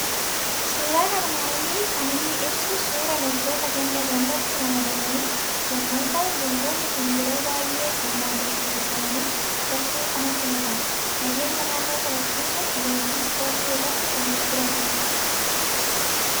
Suuraan armaan olii kan inni ibsu suuraa loltoota ganda gandatti ramadamanii yommuu ta'u, loltoonni kun yeroo baay'ee humnaan dirqisiisamanii gartuu kanatti makamu. Nageenya naannoo kabachiisuuf leenjii ispoortii irra kan jiranidha.